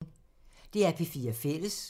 DR P4 Fælles